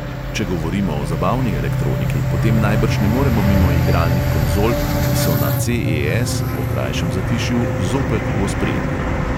Če govorimo o zabavni elektroniki, potem najbrž ne moremo mimo igralnih konzol, ki so na ce|e|es po krajšem zatišju zopet v ospredju.